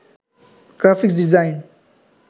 graphics design